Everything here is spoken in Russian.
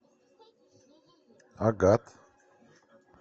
агат